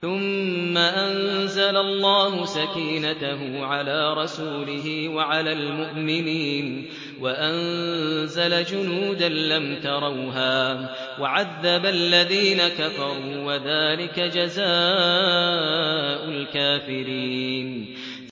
ثُمَّ أَنزَلَ اللَّهُ سَكِينَتَهُ عَلَىٰ رَسُولِهِ وَعَلَى الْمُؤْمِنِينَ وَأَنزَلَ جُنُودًا لَّمْ تَرَوْهَا وَعَذَّبَ الَّذِينَ كَفَرُوا ۚ وَذَٰلِكَ جَزَاءُ الْكَافِرِينَ